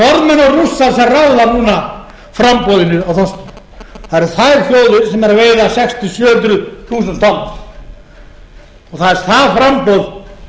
ráða núna framboðinu á þorski það eru þær þjóðir sem eru að veiða sex til sjö hundruð þúsund tonn það er það framboð